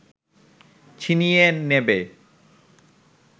ছিনিয়ে নেবে